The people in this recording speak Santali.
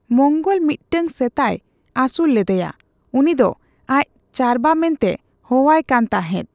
ᱢᱚᱝᱜᱚᱞ ᱢᱤᱫᱴᱟᱝ ᱥᱮᱛᱟᱭ ᱟᱥᱩᱞ ᱞᱮᱫᱮᱭᱟ ᱾ᱩᱱᱤ ᱫᱚ ᱟᱡ ᱪᱟᱨᱣᱟ ᱢᱮᱱᱛᱮ ᱦᱚᱦᱚᱣᱟᱭ ᱠᱟᱱ ᱛᱟᱦᱮᱸᱫ ᱾